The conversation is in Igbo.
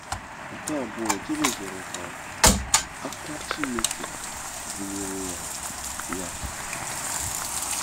Nke abụọ, Jebez rịọrọ ka “aka” Chineke dịnyere ya. ya.